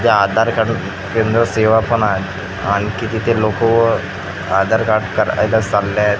ते आधार कार्ड केंद्र सेवा पण आहे आणखी तिथे लोक आधार कार्ड करायला चालले आहेत.